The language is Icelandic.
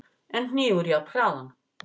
en hnígur jafnharðan.